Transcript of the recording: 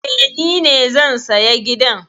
Eh, ni ne zan saya gidan